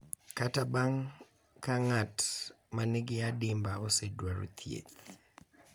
Kata bang’ ka ng’at ma nigi adimba osedwaro thieth,